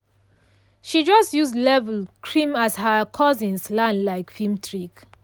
she just use leave-in cream as her cousins land like film trick.